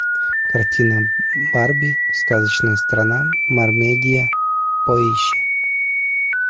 картина барби сказочная страна мармедия поищи